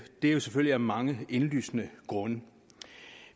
vi jo selvfølgelig af mange af indlysende grunde